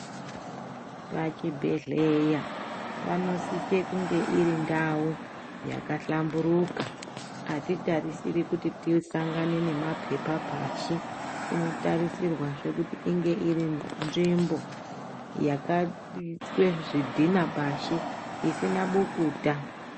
Pachibhedhleya panosise kunge iri ndau yakahlamburuka atitarisiri kuti tisangane nemapepa pasi inotarisirwazve kuti inge iri nzvimbo yakaiswe zvidhina pashi isina bukuta.